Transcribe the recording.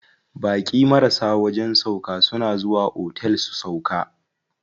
Baƙi marasa wajen sauƙa suna zuwa otel su sauƙa.